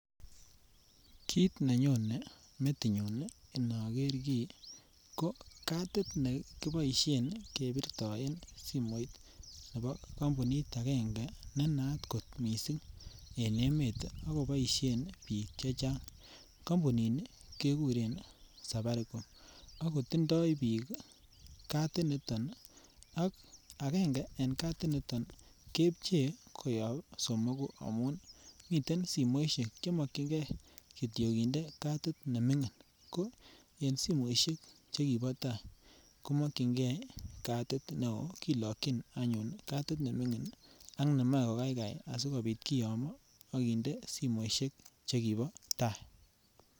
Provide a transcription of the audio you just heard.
Kit ne nyone metinyu inoger kii ko kadit nekiboisien ne kiboisien kebirtoen simoit nebo kampunit agenge ne naat kot mising en emet ak koboisien biik che chang. Kampuni keguren Safaricom ak kotindoi biik kadit nito. Agenge eng kadiniton keepche koyob somoku amun miten simoisiek che mokyinge kityok kinde kadit ne mingin. Ko en simoisiek che kibo tai komakyinge kadit neo kilakyin anyun kadit ne mingin ak nemoe kokaikai asigopit kiyomo ak kinde simoisiek che kibo ta.